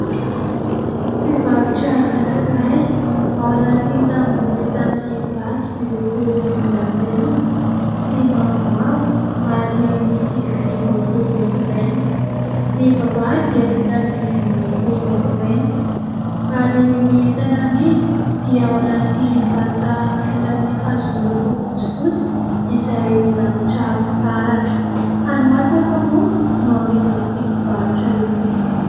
Mpivarotra anakiray, ao anaty tamboho vita amin'ny vato miloko volondavenona sy mavomavo ary misy vy miloko maintimainty. Ny vavahady dia vita avy amin'ny vy miloko maintimainty. Ary ny entana amidy dia ao anaty vata, vita amin'ny hazo miloko fotsifotsy, izay rakotra fitaratra. Hani-masaka moa no amidin'ity mpivarotra ity.